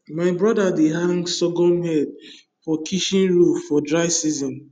my brother dey hang sorghum head for kitchen roof for dry season